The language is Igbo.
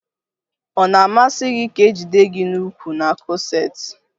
Ọ na-amasi gi ka e jide gi n'ukwu n'kọseti